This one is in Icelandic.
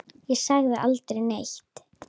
Ég sagði aldrei neitt.